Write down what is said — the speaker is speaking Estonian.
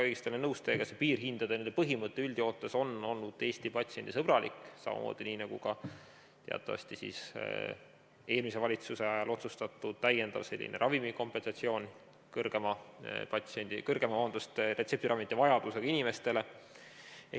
Olen väga nõus teiega, see piirhindade põhimõte on üldjoontes olnud Eestis patsiendisõbralik, samamoodi nagu ka teatavasti eelmise valitsuse ajal otsustatud täiendav ravimikompensatsioon suurema retseptiravimite vajadusega inimestele.